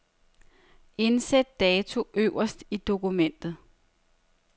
Indsæt dato øverst i dokumentet.